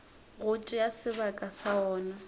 go tšea sebaka sa wona